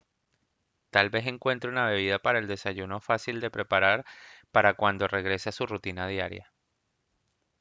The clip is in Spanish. tal vez encuentre una bebida para el desayuno fácil de preparar para cuando regrese a su rutina diaria